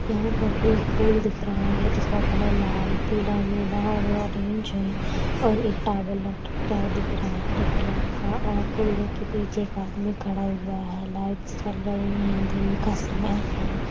यहाँ पर एक फूल दिख रहा है जिसका कलर लाल पीला नीला और ऑरेंज है और एक टॉवल लटका हुआ दिखाई दे रहा है हरे कलर का और फ़ूलों के पीछे एक आदमी खड़ा दिख रहा है लाइट्स जल रही है दिन का समय है।